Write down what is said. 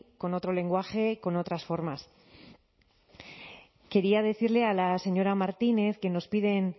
con otro lenguaje con otras formas quería decirle a la señora martínez que nos piden